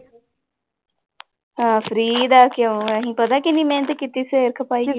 ਅਹ free ਦਾ ਕਿਉਂ ਅਸੀਂ ਪਤਾ ਕਿੰਨੀ ਮਿਹਨਤ ਕੀਤੀ ਸਿਰ ਖਪਾਈ